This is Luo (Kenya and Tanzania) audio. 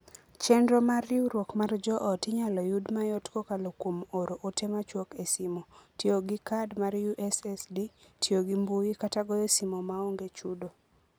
Chenro mar Riwruok mar Joot inyalo yud mayot kokalo kuom oro ote machuok e simo, tiyo gi kad mar USSD, tiyo gimbui, kata goyo simo maonge chudo.